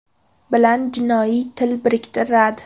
bilan jinoiy til biriktiradi.